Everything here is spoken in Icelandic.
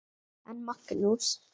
En Magnús